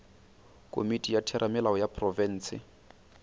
komiti ya theramelao ya profense